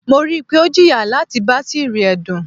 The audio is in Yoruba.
Mo rii pe o jiya lati batiri ẹdun